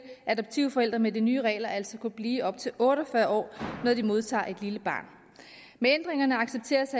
adoptivforældre med de nye regler altså kunne blive op til otte og fyrre år når de modtager et lille barn med ændringerne accepteres